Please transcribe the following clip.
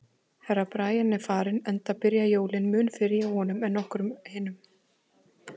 Herra Brian er farinn, enda byrja jólin mun fyrr hjá honum en okkur hinum.